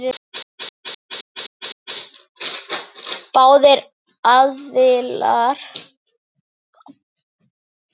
Báðir aðilar lýstu yfir sigri.